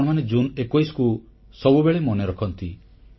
ଆପଣମାନେ ଜୁନ୍ 21କୁ ସବୁବେଳେ ମନେ ରଖନ୍ତି